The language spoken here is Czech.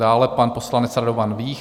Dále pan poslanec Radovan Vích.